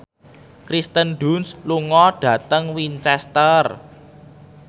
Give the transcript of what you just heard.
Kirsten Dunst lunga dhateng Winchester